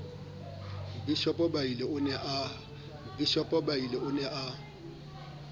mobishopo biala o ne a